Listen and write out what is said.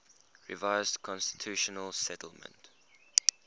revised constitutional settlement